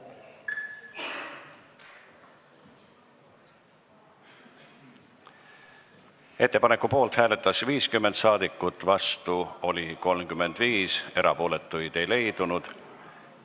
Hääletustulemused Ettepaneku poolt hääletas 50 rahvasaadikut, vastu oli 35, erapooletuid ei leidunud.